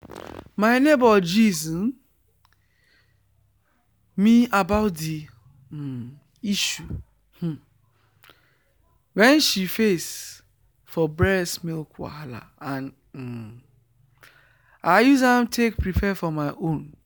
my neighbor gist me about the um issue um wen she face for breast milk wahala and um i use am take prepare for my own